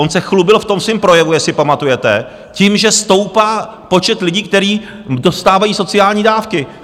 On se chlubil v tom svém projevu, jestli pamatujete, tím, že stoupá počet lidí, kteří dostávají sociální dávky.